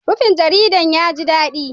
Rufin jaridun ya ji daɗi